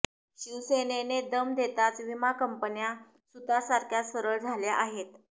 शिवसेनेने दम देताच विमा कंपन्या सुतासारख्या सरळ झाल्या आहेत